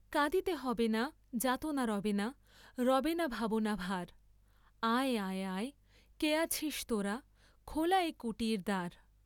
কাঁদিতে হবে না, যাতনা রবে না, রবে না ভাবনা ভার, আয় আয় আয়, কে আছিস তোরা, খোলা এ কুটীর দ্বার।